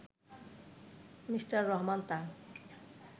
Mr Rahman তা